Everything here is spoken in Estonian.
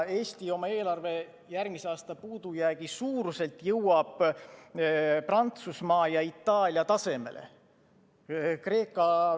Eesti jõuab oma eelarve järgmise aasta puudujäägi suuruselt Prantsusmaa ja Itaalia tasemele.